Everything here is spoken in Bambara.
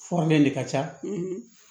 Fɔrlen de ka ca